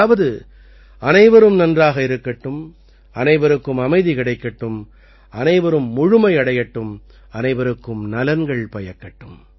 அதாவது அனைவரும் நன்றாக இருக்கட்டும் அனைவருக்கும் அமைதி கிடைக்கட்டும் அனைவரும் முழுமையடையட்டும் அனைவருக்கும் நலன்கள் பயக்கட்டும்